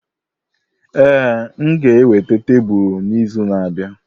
Ee, m ga-eweta tebụl n'izu na-abịa.